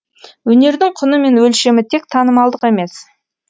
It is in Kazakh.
өнердің құны мен өлшемі тек танымалдық емес